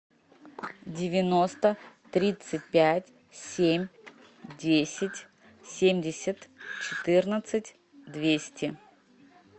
девяносто тридцать пять семь десять семьдесят четырнадцать двести